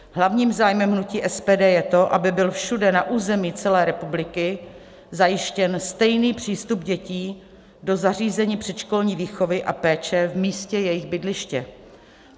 Hlavním zájmem hnutí SPD je to, aby byl všude na území celé republiky zajištěn stejný přístup dětí do zařízení předškolní výchovy a péče v místě jejich bydliště.